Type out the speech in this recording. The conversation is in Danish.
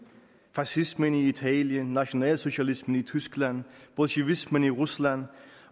fascismen i italien nationalsocialismen i tyskland bolsjevismen i rusland